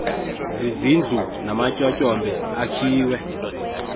zizindlu namatyotyombe akhiwe